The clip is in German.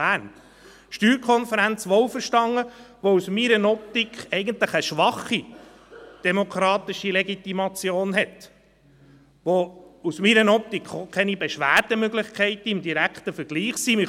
Bern dermassen erhöht hat – die SSK wohlverstanden, welche aus meiner Optik eine schwache, demokratische Legitimation hat, welche aus meiner Optik auch keine Beschwerdemöglichkeit im direkten Vergleich hat.